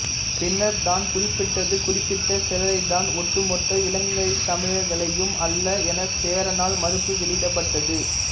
பின்னர் தான் குறிப்பிட்டது குறிப்பிட்ட சிலரைத்தான் ஒட்டுமொத்த இலங்கைத்தமிழர்களையும் அல்ல என சேரனால் மறுப்பு வெளியிடப்பட்டது